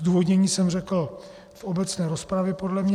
Zdůvodnění jsem řekl v obecné rozpravě, podle mě.